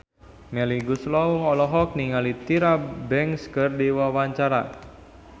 Melly Goeslaw olohok ningali Tyra Banks keur diwawancara